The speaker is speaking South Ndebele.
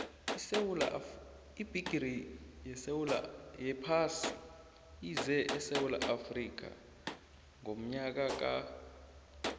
ibhigiri yephasi ize esewula afrika ngonyaka ka